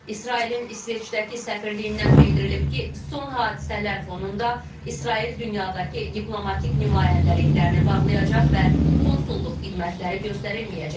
İsrailin İsveçdəki səfirliyindən bildirilib ki, son hadisələr fonunda İsrail dünyadakı diplomatik nümayəndəliklərini bağlayacaq və konsulluq xidmətləri göstərilməyəcək.